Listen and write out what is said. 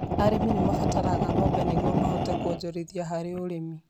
Arĩmi nĩ mabataraga ngombo nĩguo mahote kũonjorithia harĩ ũrĩmi.